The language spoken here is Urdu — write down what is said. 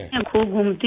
میں خوب گھومتی ہوں